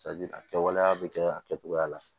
a kɛwaleya bɛ kɛ a kɛtogoya la